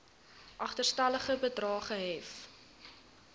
agterstallige bedrae gehef